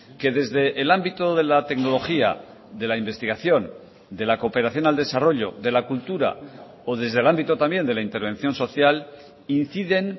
que desde el ámbito de la tecnología de la investigación de la cooperación al desarrollo de la cultura o desde el ámbito también de la intervención social inciden